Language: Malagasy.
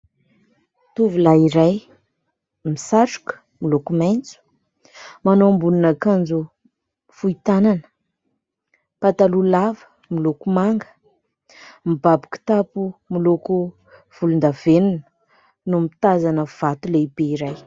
Tovolahy iray misatroka miloko maitso, manao ambonin'akanjo fohy tanana, pataloha lava miloko manga, mibaby kitapo miloko volondavenona no mitazana vato lehibe iray.